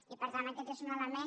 i per tant aquest és un element